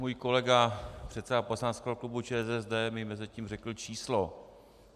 Můj kolega předseda poslaneckého klubu ČSSD mi mezitím řekl číslo.